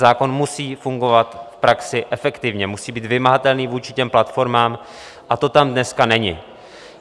Zákon musí fungovat v praxi efektivně, musí být vymahatelný vůči těm platformám, a to tam dnes není.